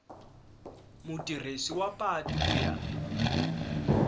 mutirhisi wa patu ku ya